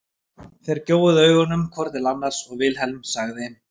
Þeir gjóuðu augunum hvor til annars og Vilhelm sagði